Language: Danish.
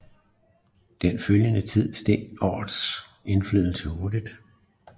I den følgende tid steg rådets indflydelse hurtig